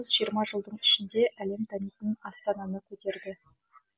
жиырма жылдың ішінде әлем танитын астананы көтерді